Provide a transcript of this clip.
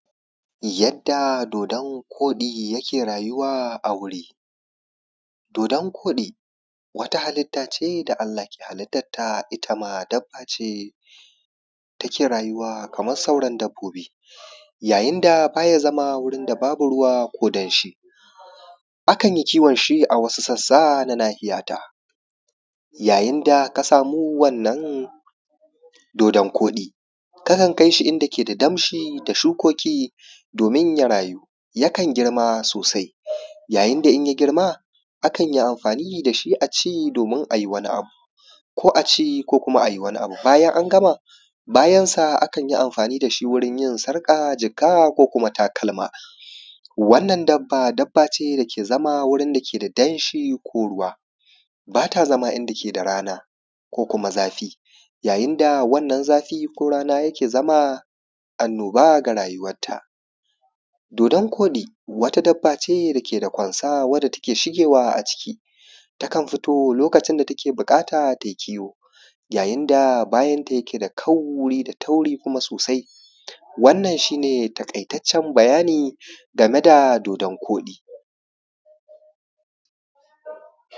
Yadda dodon-koɗi yake raayuwa a wuri, dodon-koɗi wata halitta ce da Allah ke halittatta itama dabbace take raayuwa kamar sauran dabbobi ya yin da baa ya zama wurin da babu ruwa ko danshi. Akan yi kiwon shi a wasu sassa na nahiya ta, ya yin da ka samu wannan dodon-koɗi ka kan kai shi inda ke da damshi da shukoki doomin ya rayu, yakan girma soosai, yayin da in ya girma akan yi amfaani da shi a ci doomin a yi wani abu ko a ci ko kuma ayi wani abu. Bajan an gama bayansa akan yi amfaani da shi wurin yin sarƙa, jaka ko kuma takalma wannan dabba dabba ce dake zama wurin dake da danshi ko ruwa, baa ta zama inda ke da rana ko kuma zafi yayin da wannan zafi ko rana yake zama annoba ga rayuwat ta. Dodon-koɗi wata dabba ce dake da kwansa wadda take shigewa aciki takan fito lokacin da take buƙata ta yi kiwo. Yayin da bayan ta yake da kauri da tauri kuma soosai. Wannan shi ne taƙaitaccen bayani game da dodon-koɗi.